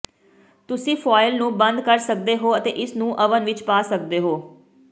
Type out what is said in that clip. ਤੁਸੀਂ ਫੁਆਇਲ ਨੂੰ ਬੰਦ ਕਰ ਸਕਦੇ ਹੋ ਅਤੇ ਇਸਨੂੰ ਓਵਨ ਵਿੱਚ ਪਾ ਸਕਦੇ ਹੋ